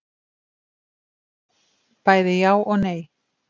Bæði já og nei.